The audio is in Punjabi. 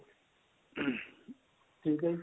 ਠੀਕ ਏ ਜੀ